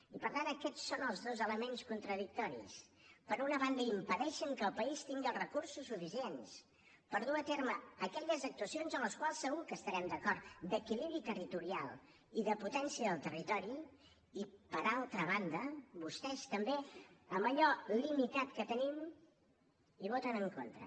i per tant aquests són els dos elements contradictoris per una banda impedeixen que el país tingui els recursos suficients per dur a terme aquelles actuacions en les quals segur que devem estar d’acord d’equilibri territorial i de potència del territori i per altra banda vostès també en allò limitat que tenim hi voten en contra